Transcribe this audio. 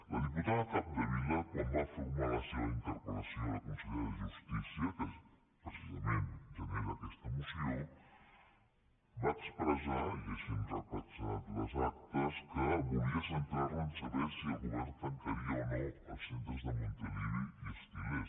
la diputada capdevila quan va formular la seva interpellació a la consellera de justícia que precisament genera aquesta moció va expressar i així ho han reflectit les actes que volia centrar la a saber si el govern tancaria o no els centres de montilivi i els til·lers